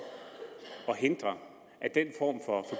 at hindre at den form for